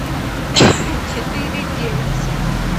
четыре девять семь